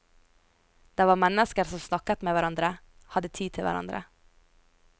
Der var mennesker som snakket med hverandre, hadde tid til hverandre.